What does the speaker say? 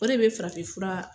O de bɛ farafin fura.